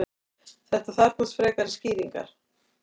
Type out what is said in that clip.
þetta þarfnast frekari skýringar